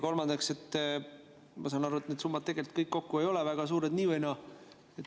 Kolmandaks, ma saan aru, et need summad kõik kokku ei ole nii ehk naa väga suured.